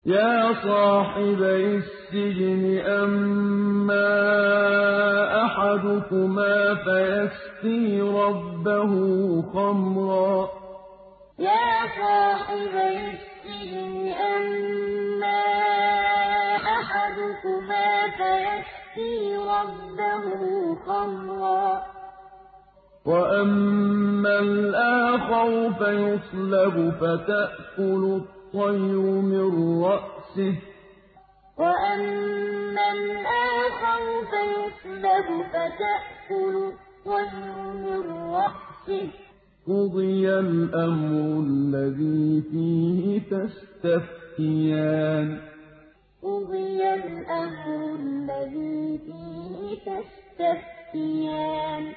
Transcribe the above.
يَا صَاحِبَيِ السِّجْنِ أَمَّا أَحَدُكُمَا فَيَسْقِي رَبَّهُ خَمْرًا ۖ وَأَمَّا الْآخَرُ فَيُصْلَبُ فَتَأْكُلُ الطَّيْرُ مِن رَّأْسِهِ ۚ قُضِيَ الْأَمْرُ الَّذِي فِيهِ تَسْتَفْتِيَانِ يَا صَاحِبَيِ السِّجْنِ أَمَّا أَحَدُكُمَا فَيَسْقِي رَبَّهُ خَمْرًا ۖ وَأَمَّا الْآخَرُ فَيُصْلَبُ فَتَأْكُلُ الطَّيْرُ مِن رَّأْسِهِ ۚ قُضِيَ الْأَمْرُ الَّذِي فِيهِ تَسْتَفْتِيَانِ